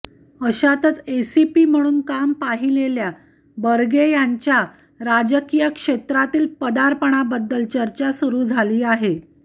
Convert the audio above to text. अशातच एसीपी म्हणून काम पाहिलेल्या बर्गे यांच्या राजकीय क्षेत्रातील पदार्पणाबद्दल चर्चा सुरू झाली आहे